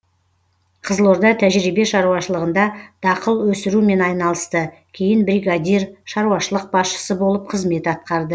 қызылорда тәжірибе шаруашылығында дақыл өсірумен айналысты кейін бригадир шаруашылық басшысы болып қызмет атқарды